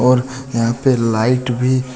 और यहां पे लाइट भी--